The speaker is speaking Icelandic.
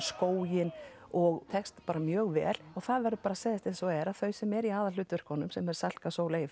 skóginn og tekst bara mjög vel og það verður bara að segjast eins og er að þau sem eru í aðalhlutverkunum sem eru Salka Sól